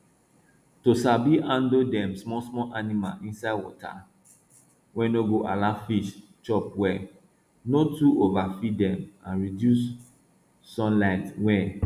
to sabi handle dem small small animal inside water wen no de allow fish chop well no too overfeed dem and reduce sun light wey